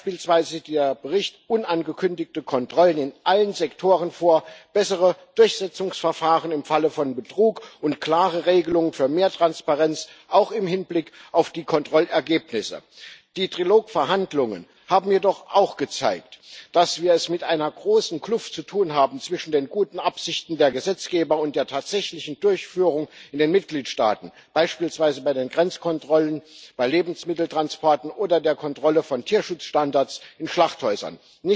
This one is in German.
Beispielsweise sieht der Bericht unangekündigte Kontrollen in allen Sektoren vor, bessere Durchsetzungsverfahren im Falle von Betrug und klare Regelungen für mehr Transparenz auch im Hinblick auf die Kontrollergebnisse. Die Trilog Verhandlungen haben jedoch auch gezeigt, dass wir es mit einer großen Kluft zu tun haben zwischen den guten Absichten der Gesetzgeber und der tatsächlichen Durchführung in den Mitgliedstaaten, beispielsweise bei den Grenzkontrollen, bei Lebensmitteltransporten oder der Kontrolle von Tierschutzstandards in Schlachthäusern.